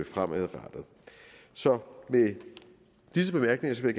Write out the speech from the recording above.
fremadrettet så med disse bemærkninger vil